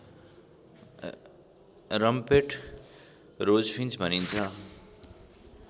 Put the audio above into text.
rumped rosefinch भनिन्छ